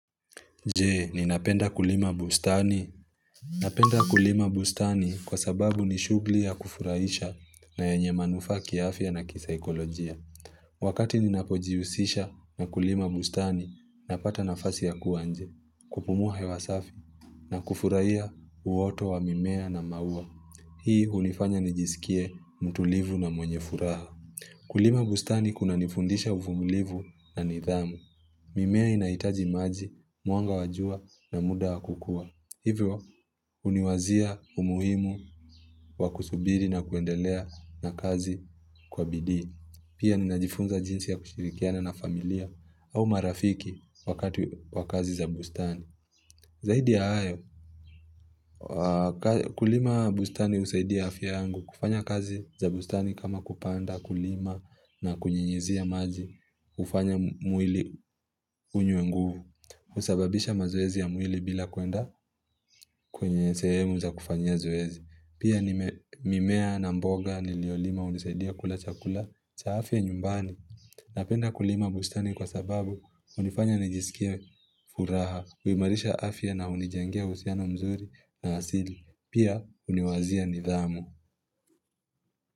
Je, ninapenda kulima bustani? Napenda kulima bustani kwa sababu ni shughuli ya kufurahisha na yenye manufaa kiafya na kisaikolojia. Wakati ninapojihusisha na kulima bustani, napata nafasi ya kuwa nje, kupumua hewa safi, na kufurahia uoto wa mimea na maua. Hii hunifanya nijisikie mtulivu na mwenye furaha. Kulima bustani kunanifundisha uvumilivu na nidhamu. Mimea inahitaji maji, mwanga wa jua na muda wa kukua. Hivyo, huniwazia umuhimu wa kusubiri na kuendelea na kazi kwa bidii. Pia, ninajifunza jinsi ya kushirikiana na familia au marafiki wakati wa kazi za bustani. Zaidi ya hayo, kulima bustani husaidia afya yangu. Kufanya kazi za bustani kama kupanda, kulima na kunyunyuzia maji. Hufanya mwili unywe nguvu. Husababisha mazoezi ya mwili bila kuenda kwenye sehemu za kufanyia zoezi. Pia mimea na mboga niliolima hunisaidia kula chakula cha afya nyumbani. Napenda kulima bustani kwa sababu hunifanya nijisikie furaha, huimarisha afya na hunijengea uhusiano mzuri na asili. Pia huniwazia nidhamu.